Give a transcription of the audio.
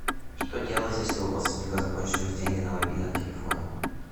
что делать если у родственника закончились деньги на мобильном телефоне